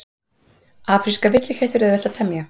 Afríska villiketti er auðvelt að temja.